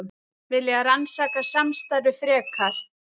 Vilja rannsaka samstarfið frekar